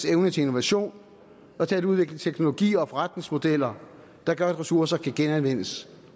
evne til innovation og til at udvikle teknologier og forretningsmodeller der gør at ressourcer kan genanvendes